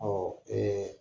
Ɔ ee